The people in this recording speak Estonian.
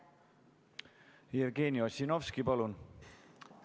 Jevgeni Ossinovski, palun!